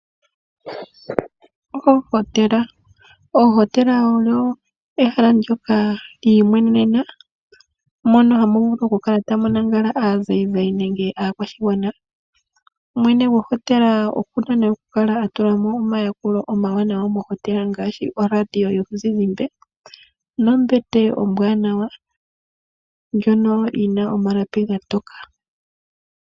Ohotela olyili ehala ndyoka lyiimwenena moka hamu vulu kukala tamu lala aanzayinzayi nenge aakwashigwana, mwene gohotela aluhe okuna kukala atula mo omayakulo omawanawa ngaashi oradio yomuzizimba nombete ombwaanawa ndjono yina omalapi omatokele.